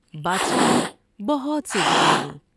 بادشاہ نے بہت سی دعائیں دیں ۔